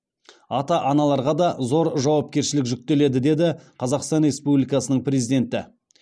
ата аналарға да зор жауапкершілік жүктеледі деді қазақстан республикасының президенті